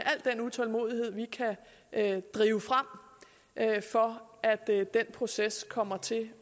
utålmodighed vi kan drive frem for at den proces kommer til at